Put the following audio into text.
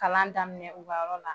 Kalan daminɛ u ka yɔrɔ la